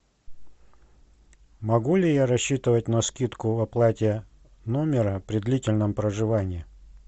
могу ли я рассчитывать на скидку в оплате номера при длительном проживании